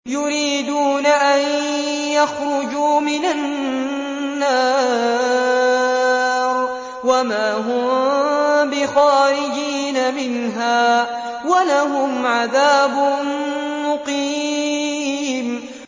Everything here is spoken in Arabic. يُرِيدُونَ أَن يَخْرُجُوا مِنَ النَّارِ وَمَا هُم بِخَارِجِينَ مِنْهَا ۖ وَلَهُمْ عَذَابٌ مُّقِيمٌ